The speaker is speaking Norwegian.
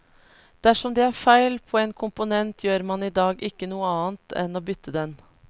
Dersom det er feil på en komponent, gjør man i dag ikke noe annet enn å bytte den.